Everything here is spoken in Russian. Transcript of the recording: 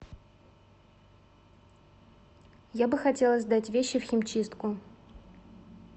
я бы хотела сдать вещи в химчистку